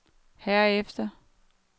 herefter